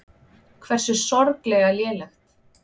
Hversu sorglega lélegt.